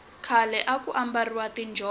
khale aku ambariwa tinjhovo